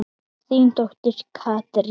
Þín dóttir Katrín.